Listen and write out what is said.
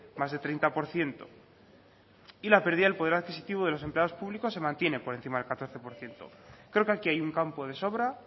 más de treinta por ciento y la pérdida del poder adquisitivo de los empleados públicos se mantiene por encima del catorce por ciento creo que aquí hay un campo de sobra